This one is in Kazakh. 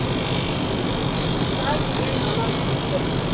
саз деген анау тиіп тұр